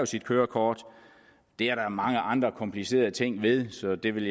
sit kørekort det er der mange andre komplicerede ting ved så det vil